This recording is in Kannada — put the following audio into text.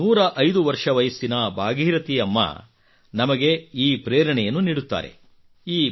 ನಮ್ಮ 105 ವರ್ಷ ವಯಸ್ಸಿನ ಭಾಗೀರಥಿ ಅಮ್ಮ ನಮಗೆ ಈ ಪ್ರೇರಣೆಯನ್ನು ನೀಡುತ್ತಾರೆ